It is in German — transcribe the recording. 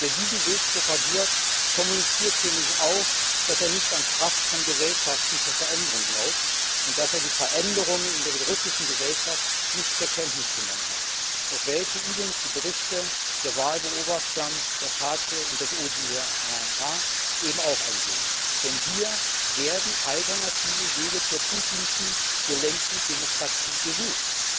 Wer diesen Weg propagiert, kommuniziert für mich auch, dass er nicht an die Kraft von Gesellschaften zur Veränderung glaubt und dass er die Veränderungen in der russischen Gesellschaft nicht zur Kenntnis genommen hat, auf welche übrigens auch die Berichte der Wahlbeobachter der PACE und des ODHR eingehen, denn hier werden Alternativen zur Putinschen gelenkten Demokratie gesucht.